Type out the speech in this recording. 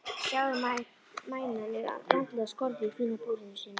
Sjáðu, mænan er vandlega skorðuð í fína búrinu sínu.